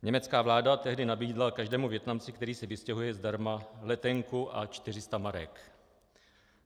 Německá vláda tehdy nabídla každému Vietnamci, který se vystěhuje, zdarma letenku a 400 marek.